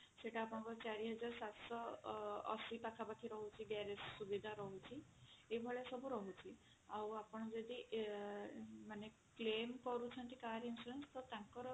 ସେଟା ଆପଣଙ୍କର ଚାରି ହଜାର ସାତଶହ ଅଶି ପାଖା ପାଖି ରହୁଛି garage ସୁବିଧା ରହୁଛି ଏ ଭଳିଆ ସବୁ ରହୁଛି ଆଉ ଆପଣ ଯଦି ମାନେ claim କରୁଛନ୍ତି car insurance ଟା ତାଙ୍କର